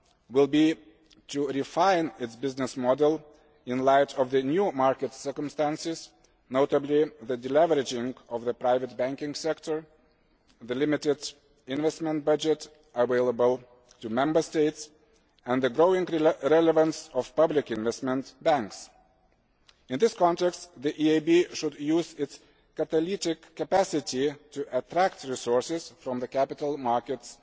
will be to refine its business model in light of the new market circumstances, notably the deleveraging of the private banking sector, the limited investment budget available to Member States, and the growing relevance of public investment banks. In this context, the EIB should use its catalytic capacity to attract resources from the capital markets